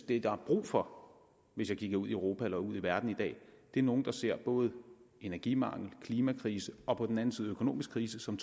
det der er brug for hvis jeg kigger ud i europa eller ud i verden i dag er nogle der ser både energimangel og klimakrise og på den anden side økonomisk krise som